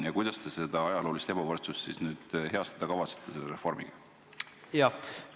Ja kuidas te siis seda ajaloolist ebavõrdsust nüüd heastada kavatsete selle reformiga?